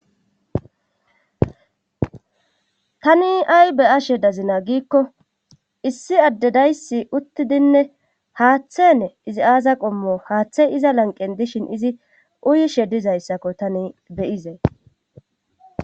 tani ay be ashe dazina giikko issi addedaysi uttidinne haaththene izi aaza qommo haaththey iza lanqen dishin izi uyishe dizayssakko tani beyizee